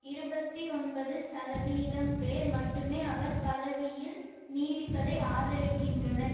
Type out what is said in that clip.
இருபத்தி ஒன்பது சதவீதம் பேர் மட்டுமே அவர் பதவியில் நீடிப்பதை ஆதரிக்கின்றனர்